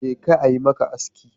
Jeka a yi maka aski.